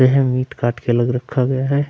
पे है मीट काट के अलग रखा गया है।